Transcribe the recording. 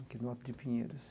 Aqui no Alto de Pinheiros.